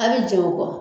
A' bi jɛ o kɔ